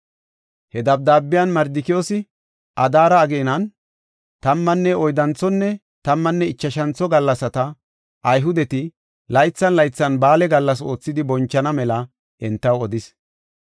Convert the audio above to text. He dabdaabiyan Mardikiyoosi Adaare ageenan tammanne oyddanthonne tammanne ichashantho gallasata, Ayhudeti laythan laythan ba7aale gallas oothidi bonchana mela entaw odis.